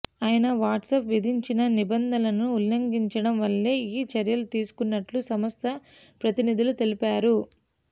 ఆయన వాట్సాప్ విధించిన నిబంధనలను ఉళ్లంఘించడం వల్లే ఈ చర్యలు తీసుకున్నట్లు సంస్థ ప్రతినిధులు తెలిపారు